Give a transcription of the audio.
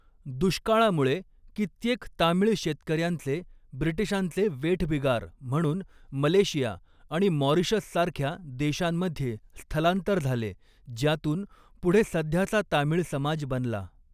दुष्काळामुळे कित्येक तामीळ शेतकऱ्यांचे ब्रिटिशांचे वेठबिगार म्हणून मलेशिया आणि मॉरिशससारख्या देशांमध्ये स्थलांतर झाले, ज्यातून पुढे सध्याचा तामीळ समाज बनला.